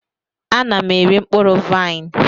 Ana m eri mkpụrụ vaịn.